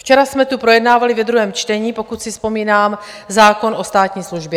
Včera jsme tu projednávali ve druhém čtení, pokud si vzpomínám, zákon o státní službě.